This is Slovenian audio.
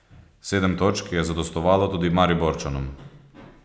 Sedem točk je zadostovalo tudi Mariborčanom.